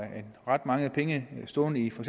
have ret mange penge stående i for